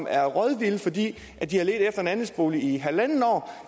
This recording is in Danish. er rådvilde fordi de har ledt efter en andelsbolig i halvandet år